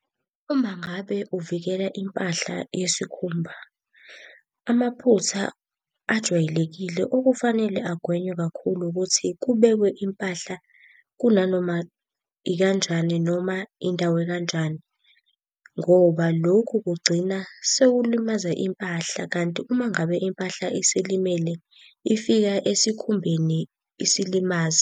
Uma ngabe uvikela impahla yesikhumba, amaphutha ajwayelekile okufanele agwenywe kakhulu ukuthi kubekwe impahla kunanoma ikanjani noma indawo ekanjani. Ngoba lokhu kugcina sekulimaza impahla, kanti uma ngabe impahla isilimele, ifika esikhumbeni isilimaze.